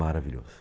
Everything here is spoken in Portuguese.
Maravilhoso.